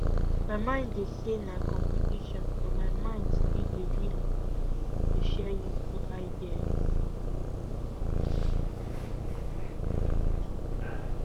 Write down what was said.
my mind dey say na competition but my mind still dey willing to share useful ideas